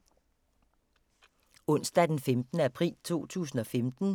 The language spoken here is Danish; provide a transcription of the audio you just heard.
Onsdag d. 15. april 2015